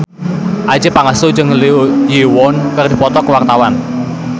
Adjie Pangestu jeung Lee Yo Won keur dipoto ku wartawan